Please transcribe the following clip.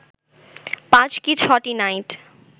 ৫ কি ৬টি নাইট